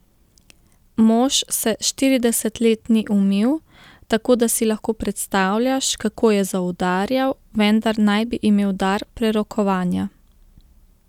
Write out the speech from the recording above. Mož se štirideset let ni umil, tako da si lahko predstavljaš, kako je zaudarjal, vendar naj bi imel dar prerokovanja.